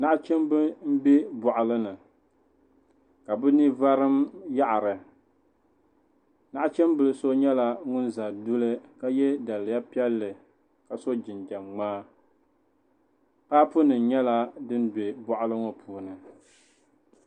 Naɣichimbi n bɛ bɔɣili ni ka bini varim yaɣiri naɣichimbi so yɛla ŋun za duli ka yiɛ daliya piɛlli ka so jinjam mŋaa paapu nim yɛla dini bɛ bɔɣili ŋɔ puuni.